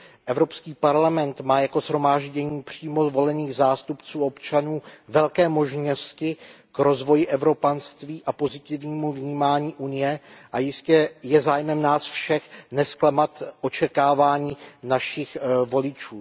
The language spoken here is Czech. Evropský parlament má jako shromáždění přímo zvolených zástupců občanů velké možnosti k rozvoji evropanství a pozitivnímu vnímání Unie a jistě je zájmem nás všech nezklamat očekávání našich voličů.